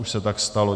Už se tak stalo.